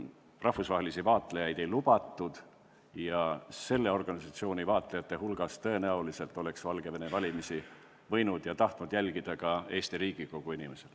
Rahvusvahelisi vaatlejaid valimisi vaatlema ei lubatud, kuid selle organisatsiooni vaatlejate hulgas oleks tõenäoliselt võinud ja tahtnud Valgevene valimisi jälgida ka Eesti Riigikogu inimesed.